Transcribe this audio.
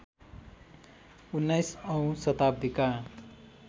१९ औँ शताब्दीका